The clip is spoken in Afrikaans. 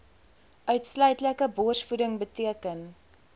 uitsluitlike borsvoeding beteken